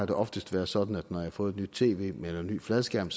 det oftest været sådan at når jeg har fået et nyt tv eller en ny fladskærm